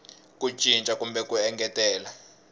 ku cinca kumbe ku engetelela